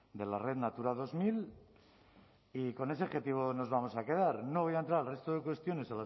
de la red natura dos mil y con ese objetivo nos vamos a quedar no voy a entrar al resto de cuestiones